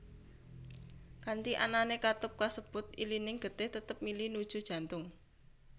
Kanthi anané katup kasebut ilining getih tetep mili nuju jantung